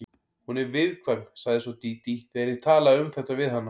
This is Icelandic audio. Hún er viðkvæm, sagði svo Dídí þegar ég talaði um þetta við hana.